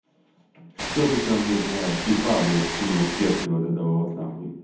что ты там мне за типа блять скину в кепке вот этого вот нахуй